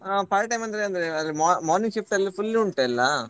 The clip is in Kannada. ಆ part time ಅಂದ್ರೆ ಅದೇ morning shift ಎಲ್ಲಾ full ಉಂಟು ಎಲ್ಲಾ.